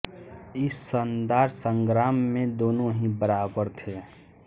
इस शानदार संग्राम में दोनों ही बराबर थे